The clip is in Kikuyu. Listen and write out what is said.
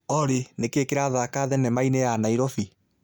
Olly, nikiĩ kirathaaka thenema-inĩ ya Nairobi